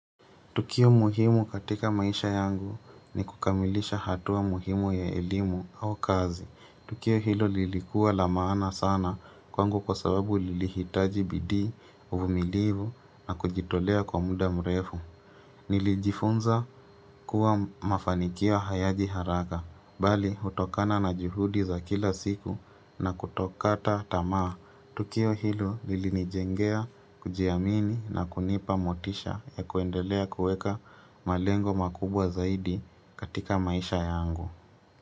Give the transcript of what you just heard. Tukio muhimu katika maisha yangu ni kukamilisha hatua muhimu ya elmu au kazi. Tukio hilo lilikuwa la maana sana kwangu kwa sababu lilihitaji bidii, uvumilivu na kujitolea kwa muda mrefu. Nilijifunza kuwa mafanikio hayaji haraka. Bali utokana na juhudi za kila siku na kutokata tamaa. Tukio hilo lilinijengea, kujiamini na kunipa motisha ya kuendelea kueka malengo makubwa zaidi katika maisha yangu.